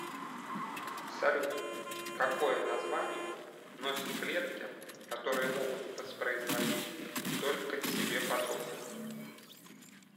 салют какое название носят клетки которые могут воспроизводить только себе подобных